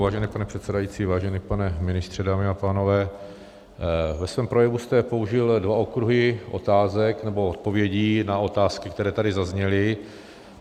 Vážený pane předsedající, vážený pane ministře, dámy a pánové, ve svém projevu jste použil dva okruhy otázek nebo odpovědí na otázky, které tady zazněly.